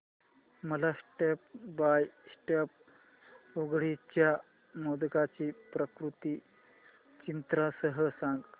मला step by step उकडीच्या मोदकांची पाककृती चित्रांसह सांग